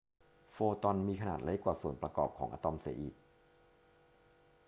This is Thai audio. โฟตอนมีขนาดเล็กกว่าส่วนประกอบของอะตอมเสียอีก